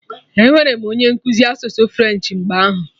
Enwere m onye nkụzi asụsụ French mgbe ahụ